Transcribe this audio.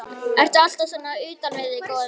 Ertu alltaf svona utan við þig, góði minn?